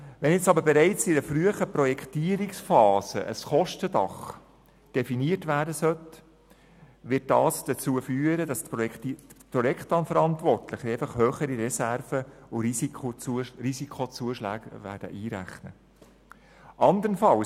Wenn nun aber bereits in einer frühen Projektierungsphase ein Kostendach definiert werden soll, wird dies dazu führen, dass die Projektverantwortlichen einfach höhere Reserven und Risikozuschläge einrechnen werden.